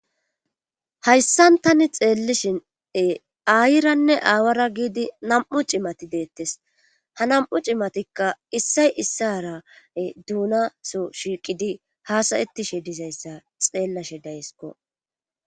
Haysssan tai xeelishin ee aayiranne aawara gidid nam7u cimati deetes ha nam7u cimatikka issay issaara duuunasoo shiiqidi haasayettishe dizzyssa xeelashe dayskko.